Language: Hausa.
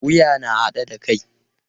Wuya na haɗe da kai.